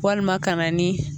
Walima ka na nin